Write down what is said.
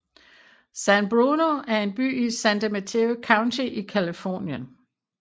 San Bruno er en by i San Mateo County i Californien